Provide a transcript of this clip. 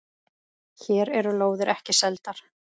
Hér eru lóðir ekki seldar.